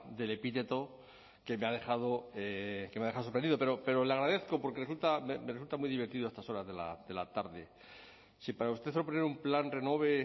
del epíteto que me ha dejado sorprendido pero le agradezco porque me resulta muy divertido a estas horas de la tarde si para usted un plan renove